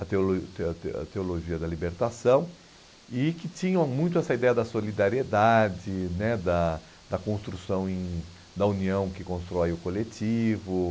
a teolo teo teo a teologia da libertação, e que tinham muito essa ideia da solidariedade né, da da construção em da união que constrói o coletivo.